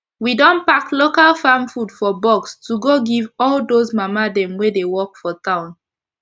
we don pack local farm food for box to go give all dos mama dem wey dey work for town